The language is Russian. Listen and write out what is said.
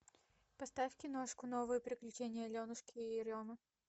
поставь киношку новые приключения аленушки и еремы